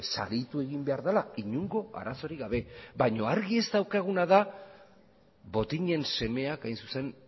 saritu egin behar dela inongo arazorik gabe baina argi ez daukaguna da botinen semeak hain zuzen